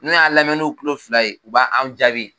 N'u y'a lamɛ n'u tulo fila ye u b'an jaabi